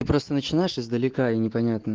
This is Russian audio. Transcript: просто начинаешь издалека и не понятно